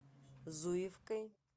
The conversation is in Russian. зуевкой